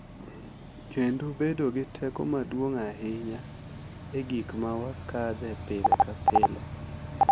Kendo bedo gi teko maduong’ ahinya e gik ma wakadhe pile ka pile,